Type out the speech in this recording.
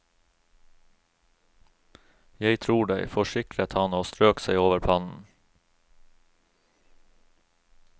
Jeg tror deg, forsikret han og strøk seg over pannen.